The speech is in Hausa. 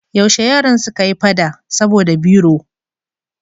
Yaushe yaran suka yi fada saboda biro?